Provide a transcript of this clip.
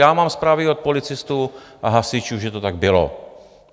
Já mám zprávy od policistů a hasičů, že to tak bylo.